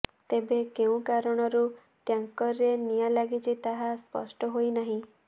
ତେବେ କେଉଁ କାରଣରୁ ଟ୍ୟାଙ୍କରରେ ନିଆଁ ଲାଗିଛି ତାହା ସ୍ପଷ୍ଟ ହୋଇନାହିଁ